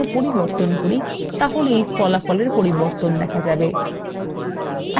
এখন ফল হিসাবে negetive প্রদর্শিত হচ্ছে